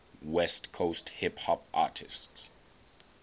west coast hip hop artists